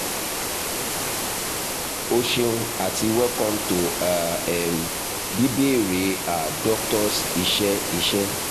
o ṣeun ati welcome to a um "bíbéèrè a doctor's" iṣẹ iṣẹ